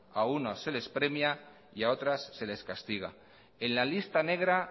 a unos se les premia y a otras se les castiga en la lista negra